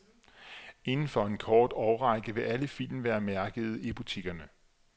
Inden for en kort årrække vil alle film være mærkede i butikkerne.